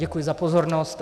Děkuji za pozornost.